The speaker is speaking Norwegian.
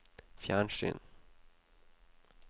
fjernsyn